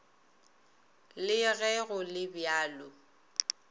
le ge go le bjalo